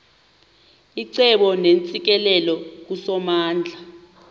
icebo neentsikelelo kusomandla